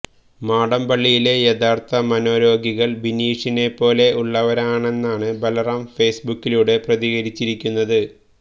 മാടമ്പള്ളിയിലെ യഥാര്ഥ മനോരോഗികള് ബിനീഷിനെപ്പോലെ ഉള്ളവരാണെന്നാണ് ബല്റാം ഫേസ്ബുക്കിലുടെ പ്രതികരിച്ചിരിക്കുന്നത്